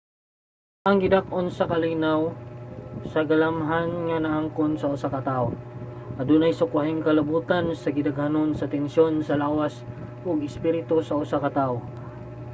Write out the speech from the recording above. ang gidak-on sa kalinaw sa galamhan nga naangkon sa usa ka tawo adunay sukwahing kalabotan sa gidaghanon sa tensiyon sa lawas ug espiritu sa usa ka tawo